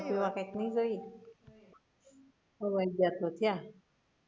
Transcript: ખોવાઈ ગયા છો ક્યાં